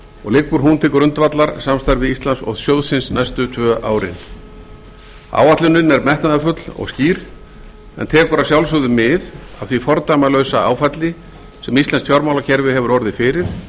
og liggur hún til grundvallar samstarfi íslands og sjóðsins næstu tvö árin áætlunin er metnaðarfull og skýr en tekur að sjálfsögðu mið af því fordæmalausa áfalli sem íslenskt fjármálakerfi hefur orðið fyrir